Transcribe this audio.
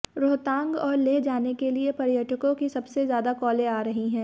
रोहतांग और लेह जाने के लिए पर्यटकों की सबसे ज्यादा कॉलें आ रही है